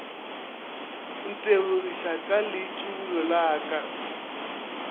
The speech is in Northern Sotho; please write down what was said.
ntebogiša ka leitšibulo la ka